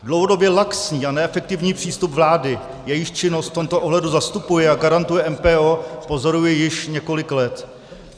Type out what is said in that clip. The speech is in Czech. Dlouhodobě laxní a neefektivní přístup vlády, jejíž činnost v tomto ohledu zastupuje a garantuje MPO, pozoruji již několik let.